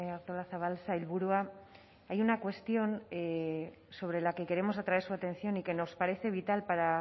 artolazabal sailburua hay una cuestión sobre la que queremos atraer su atención y que nos parece vital para